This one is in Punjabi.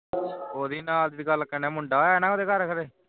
ਉਹਦੀ ਨਾਲਦੀ ਦੀ ਗੱਲ ਕੇਨੇ ਮੁੰਡਾ ਹੋਇਆ ਨਾ ਉਸਦੇ ਘਰ